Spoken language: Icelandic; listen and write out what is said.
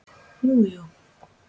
Jú jú.